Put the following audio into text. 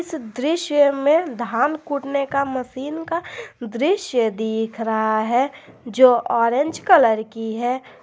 इस दृश्य में धान कूटने का मशीन का दृश्य दिख रहा है जो ऑरेंज कलर की है।